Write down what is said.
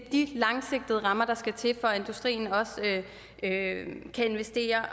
de langsigtede rammer der skal til for at industrien også kan investere